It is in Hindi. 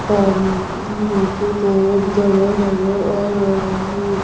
पानी भी मुझे बहुत भरा नजर आ रहा है।